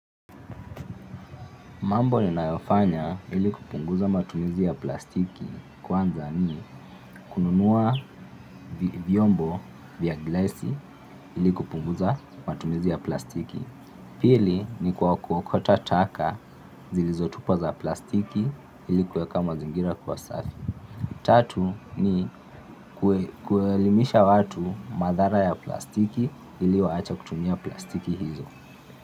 Mambo ninayofanya ili kupunguza matumizi ya plastiki kwanza ni kununua vyombo vya glasi ili kupunguza matumizi ya plastiki. Pili ni kwa kuokota taka zilizotupwa za plastiki ili kuweka mazingira kuwa safi. Tatu ni kuelimisha watu madhara ya plastiki ili waache kutumia plastiki hizo.